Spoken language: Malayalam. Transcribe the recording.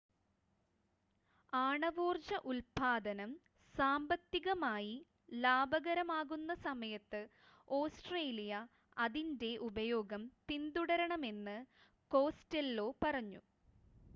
ആണവോർജ്ജ ഉൽപ്പാദനം സാമ്പത്തികമായി ലാഭകരമാകുന്ന സമയത്ത് ഓസ്‌ട്രേലിയ അതിൻ്റെ ഉപയോഗം പിന്തുടരണമെന്ന് കോസ്റ്റെല്ലോ പറഞ്ഞു